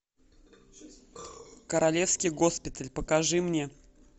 королевский госпиталь покажи мне